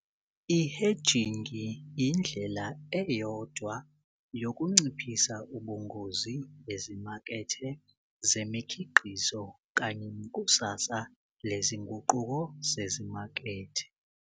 I-Hedging yindlela eyodwa yokunciphisa ubungozi ezimakethe zemikhiqizo kanye nekusasa lezinguquko zezimakethe.